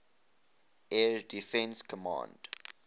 air defense command